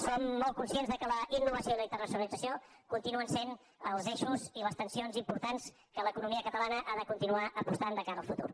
som molt conscients que la innovació i la internacionalització continuen sent els eixos i les tensions importants per què l’economia catalana ha de continuar apostant de cara al futur